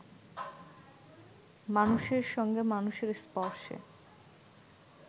মানুষের সঙ্গে মানুষের স্পর্শে